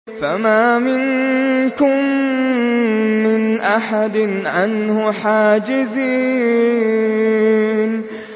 فَمَا مِنكُم مِّنْ أَحَدٍ عَنْهُ حَاجِزِينَ